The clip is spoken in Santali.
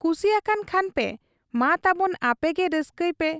ᱠᱩᱥᱤ ᱟᱠᱟᱱ ᱠᱷᱟᱱᱯᱮ ᱢᱟ ᱛᱟᱵᱚᱱ ᱟᱯᱮᱜᱮ ᱨᱟᱹᱥᱠᱟᱹᱭ ᱯᱮ